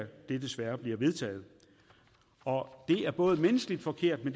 desværre bliver vedtaget det er både menneskeligt forkert